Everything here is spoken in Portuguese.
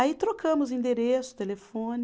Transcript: Aí trocamos endereço, telefone.